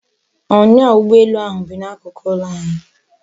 Onya ugboelu ahu bi n'akuku ulo anyi